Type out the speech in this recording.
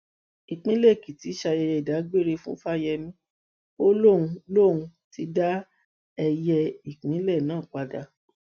ìpínlẹ èkìtì ṣayẹyẹ ìdágbére fún fáyemí ó lóun lóun ti dá ẹyẹ ìpínlẹ náà padà